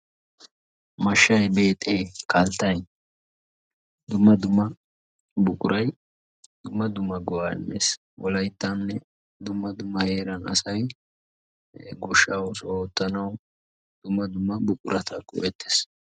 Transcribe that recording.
Mashshay, beexee, kalttay dumma dumma buquray dumma dumma go'aa immees. Wolayttaninne dumma dumma heeran asay goshshaa oosuwa oottanawu dumma dumma buquraa go'ettees.